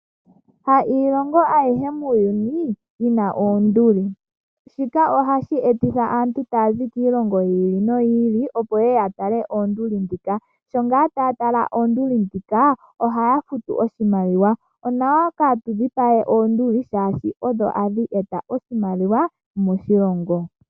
Kashishi iilongo ayihe muuyuni, yina oonduli. Shika ohashi etitha aantu taazi kiilongo yi ili noyi ili, opo yeye ya tale oonduli dhoka. Sho ngaa taa tala oonduli dhoka, ohaa futu oshimaliwa. Onawa kaatu dhipage oonduli, shaashi odho hadhi eta oshimaliwa moshilongo.